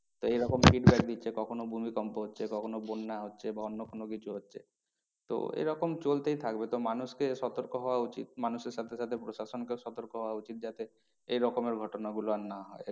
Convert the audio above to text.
তা এই রকম feedback দিচ্ছে কখনো ভূমিকম্প হচ্ছে কখনো বন্যা হচ্ছে বা অন্য কোনো কিছু হচ্ছে। তো এইরকম চলতেই থাকবে তো মানুষকে সতর্ক হওয়া উচিত মানুষের সাথে সাথে প্রশাসনকেও সতর্ক হওয়া উচিত যাতে এই রকমের ঘটনা গুলো আর না হয়।